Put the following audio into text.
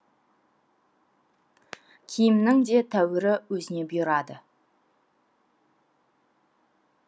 киімнің де тәуірі өзіне бұйырады